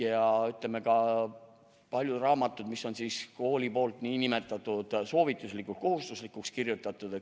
Ja ütleme, on ka palju raamatuid, mille on kool soovituslikuks-kohustuslikuks kirjutanud.